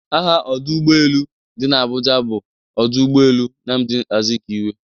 Aha ọdụ ụgbọelu dị n'Abuja bụ ọdụ ụgbọelu Nnamdi Azikwe